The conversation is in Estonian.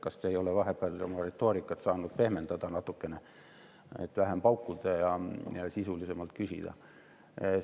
Kas te ei ole saanud vahepeal oma retoorikat natukene pehmendada, et vähem paukuda ja sisulisemalt küsida?